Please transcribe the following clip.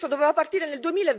Questo doveva partire nel